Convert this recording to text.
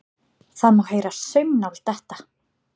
Það má heyra saumnál detta.